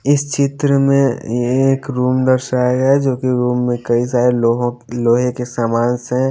इस चित्र में ये एक रूम दर्शाया गया है जो कि रूम में कई सारे लोहों लोहे के सामानस से--